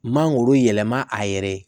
Mangoro yɛlɛma a yɛrɛ ye